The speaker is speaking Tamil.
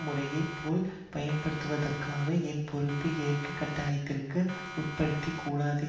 முறையை போல் பயன்படுத்தியதற்காக ஏன் பொறுப்பு ஏற்கும் கட்டாயத்திற்கு உட்படுத்தக் கூடாது